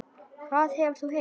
Hvað hefur þú heyrt?